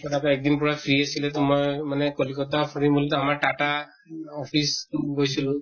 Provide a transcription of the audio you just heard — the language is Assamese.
তথাপিও এক দিন পুৰা free আছিলোঁ তো মই মানে কলকত্তা ফুৰিম বুলি তʼ আমাৰ tata office গৈছিলো